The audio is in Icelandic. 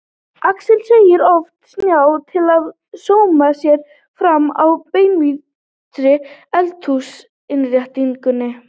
Axel segir of snjáð til að sóma sér framan á beinhvítri eldhúsinnréttingunni.